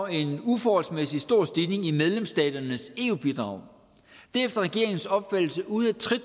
en uforholdsmæssig stor stigning i medlemsstaternes eu bidrag det er efter regeringens opfattelse ude af trit